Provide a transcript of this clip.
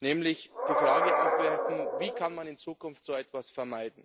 nämlich die Frage aufwerfen Wie kann man in Zukunft so etwas vermeiden?